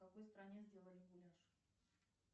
в какой стране сделали гуляш